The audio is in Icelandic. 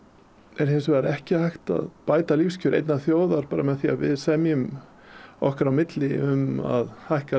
er hins vegar ekki hægt að bæta lífskjör einnar þjóðar bara með því að við semjum okkar á milli um að hækka